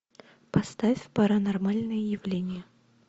поставь паранормальные явления